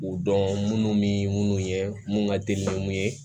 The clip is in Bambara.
U dɔn munnu bɛ munnu ye mun ka teli ni mun ye